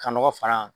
Ka nɔgɔ far'a kan